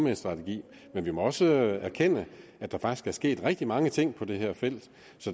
en strategi men vi må også erkende at der faktisk er sket rigtig mange ting på det her felt